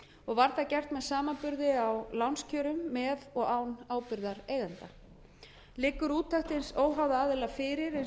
var það gert með samanburði á lánskjörum með og án ábyrgðar eigenda liggur úttekt hins óháða aðila fyrir eins og nánar